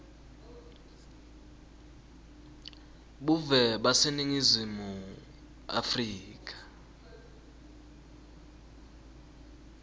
buve baseningizimu afrika